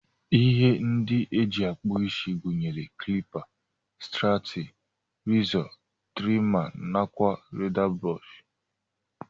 Ihe ndi eji akpụ isi gunyere klipa, strati rizọ, trima nakwa leda brọsh.